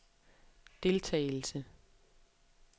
deltagelse